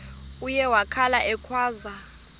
uye wakhala ekhwaza